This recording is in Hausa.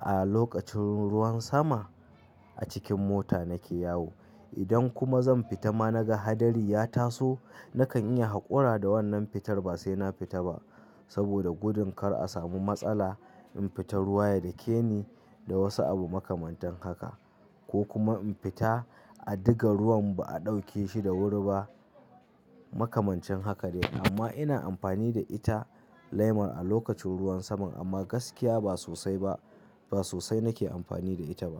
a lokacin ruwan sama a cikin mota nake yawo. Idan kuma zan fita ma na ga hadari ya taso, nakan iya haƙura da wannan fitar ba sai na fita ba saboda gudun kar a samu matsala in fita ruwa ya dake ni da wasu abu makamantan haka, ko kuma in fita a diga ruwan ba a ɗauke shi da wuri ba makamancin haka ne. Amma ina amfani da ita leman a lokacin ruwan saman amma gaskiya ba sosai ba, ba sosai nake amfani da ita ba.